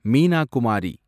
Meena Kumari